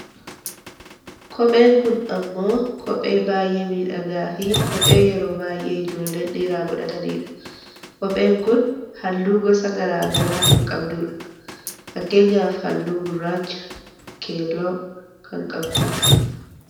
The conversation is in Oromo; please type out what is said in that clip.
Kophee, kopheen kun ammoo kophee baayyee miidhagaa fi kophee yeroo baayyee ijoolleen dhiiraa godhata nidha. Kopheen kun halluu gosa gara garaa kan qabdudha. Fakkeenyaaf halluu gurraacha, keelloo kan qabdu dha.